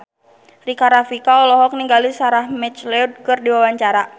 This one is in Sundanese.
Rika Rafika olohok ningali Sarah McLeod keur diwawancara